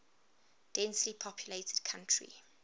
densely populated country